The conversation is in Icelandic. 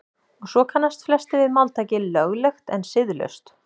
og svo kannast flestir við máltækið „löglegt en siðlaust“